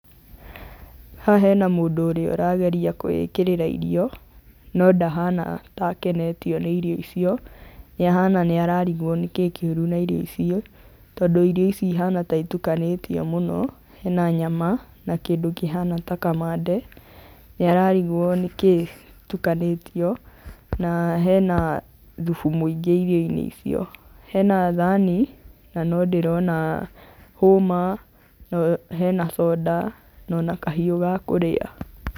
Haha hena mũndũ ũrĩa ũrageria kwĩĩkĩrĩra irio, no ndahana ta akenetio nĩ irio icio, nĩ ahana nĩ ararigwo nĩkĩĩ kĩũru na irio icio, tondũ irio ici ihana ta itukanĩtio mũno, hena nyama na kĩndũ kĩhana ta kamande, nĩ ararigwo nĩkíĩ itukanĩtio, na hena thubu mũingĩ irioinĩ icio, hena thani na no ndĩrona hũma, hena soda, ona kahiũ ga kũrĩa.